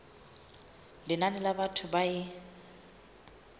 lenane la batho ba e